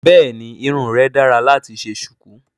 Bẹ́ẹ̀ni irun rẹ dára láti ṣe ṣùkú